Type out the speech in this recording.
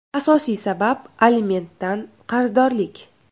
Asosiy sabab alimentdan qarzdorlik.